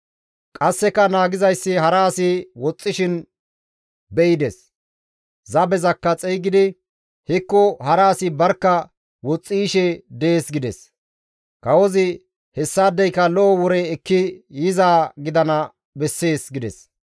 Qasseka naagizayssi hara asi woxxishin be7ides; zabezakka xeygidi, «Hekko hara asi barkka woxxi yishe dees» gides. Kawozi, «Hessaadeyka lo7o wore ekki yizaa gidana bessees» gides.